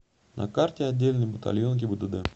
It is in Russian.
на карте отдельный батальон гибдд